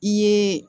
I ye